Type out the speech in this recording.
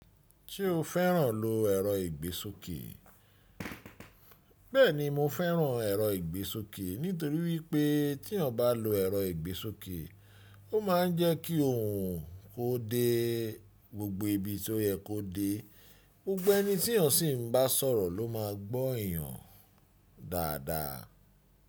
Ti o feran lo ero igbesoke. Beeni mo feran ero igbesoke nitori wipe ti eeyan ba lo ero igbesoke o maa n je ki ohun ko de gbogbo ibi ti o ye ko de. Gbogbo eni ti eeyan si ba soro lo maa gbó eeyan dada.